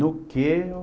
No que o...